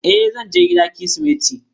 E, zan je gida kirismeti.